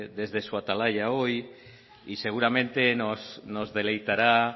desde su atalaya hoy y seguramente nos deleitará